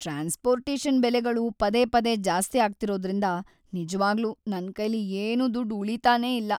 Transportation ಬೆಲೆಗಳು ಪದೇ ಪದೇ ಜಾಸ್ತಿ ಆಗ್ತಿರೋದ್ರಿಂದ ನಿಜ್ವಾಗ್ಲೂ ನನ್ಕೈಲಿ ಏನೂ ದುಡ್ಡ್‌ ಉಳೀತಾನೇ ಇಲ್ಲ.